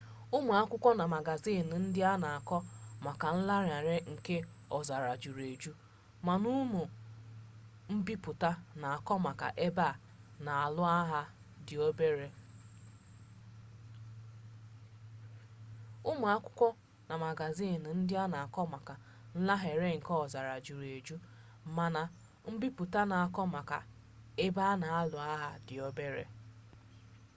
ụmụ akwụkwọ na magaziini ndị na-akọ maka nlanarị nke ọzara juru eju mana ụmụ mbipụta na-akọ maka ebe a na-alụ agha dị obere